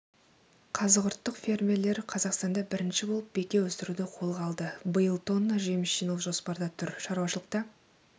қазығұрттық фермерлер қазақстанда бірінші болып беке өсіруді қолға алды биыл тонна жеміс жинау жоспарда тұр шаруашылықта